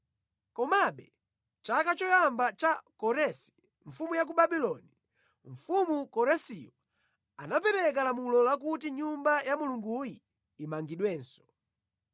“Komabe chaka choyamba cha Koresi, mfumu ya ku Babuloni, mfumu Koresiyo anapereka lamulo lakuti Nyumba ya Mulunguyi imangidwenso.